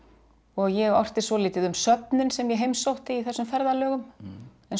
ég orti svolítið um söfnin sem ég heimsótti í þessum ferðalögum eins og